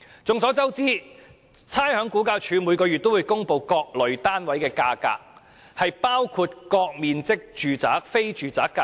眾所周知，差餉物業估價署每月均會公布各類單位的價格，包括各面積住宅、非住宅的價格。